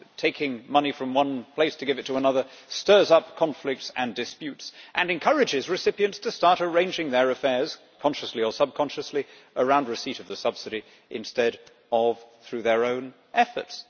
Taking money from one place to give it to another stirs up conflicts and disputes, and encourages recipients to start arranging their affairs consciously or subconsciously around receipt of the subsidy instead of through their own efforts.